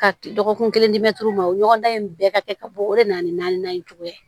Ka dɔgɔkun kelen ma o ɲɔgɔndan in bɛɛ ka kɛ ka bɔ o de nana ni naaninan in cogoya ye